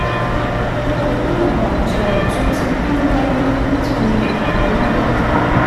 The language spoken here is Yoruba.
Mo rò pé àwọn ààtọ̀ tó ti kú wáyé nítorí akóràn